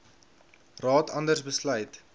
raad anders besluit